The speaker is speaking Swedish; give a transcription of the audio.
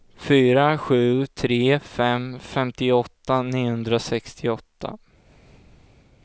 fyra sju tre fem femtioåtta niohundrasextioåtta